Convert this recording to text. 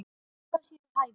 Hvað sé við hæfi.